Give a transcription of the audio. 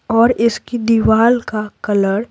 और इसकी दीवार का कलर --